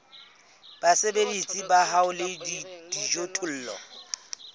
basebeletsi ba hao le dijothollo